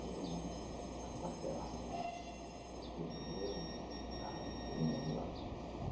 Todo mundo aquartelado lá, superiores, soldados, todo mundo lá.